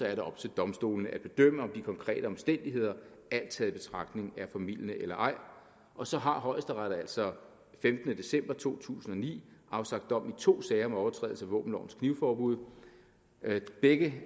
er det op til domstolene at bedømme om de konkrete omstændigheder alt taget i betragtning er formildende eller ej og så har højesteret altså femtende december to tusind og ni afsagt dom i to sager om overtrædelse af våbenlovens knivforbud begge